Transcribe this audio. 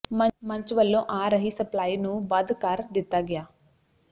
ਮੰਚ ਵੱਲੋਂ ਆ ਰਹੀ ਸਪਲਾਈ ਨੂੰ ਬਦ ਕਰ ਦਿੱਤਾ ਗਿਆ